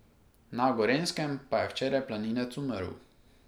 Na Gorenjskem pa je včeraj planinec umrl.